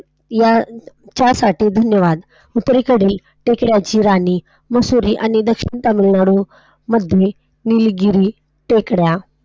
याच्या साठी धन्यवाद. उत्तरेकडील टेकड्यांची राणी मसुरी आणि दक्षिणेकडील तामिळनाडू मधील निलगिरी टेकड्या.